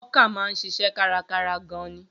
Hawker náà ń ṣiṣẹ́ kárakára gan-an.